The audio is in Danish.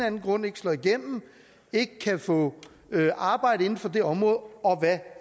anden grund ikke slår igennem og ikke kan få arbejde inden for det område og hvad